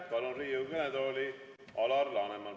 Palun Riigikogu kõnetooli Alar Lanemani.